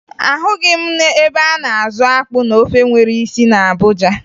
Ahụghị m ebe a na-azụ akpụ na ofe nwere isi na Abuja